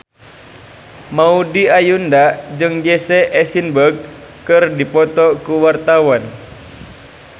Maudy Ayunda jeung Jesse Eisenberg keur dipoto ku wartawan